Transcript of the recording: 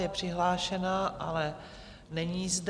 Je přihlášená, ale není zde.